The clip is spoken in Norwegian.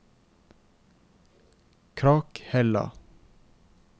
Krakhella